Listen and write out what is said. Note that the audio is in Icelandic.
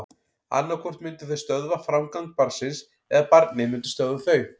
Annað hvort myndu þau stöðva framgang barnsins eða barnið myndi stöðva þau.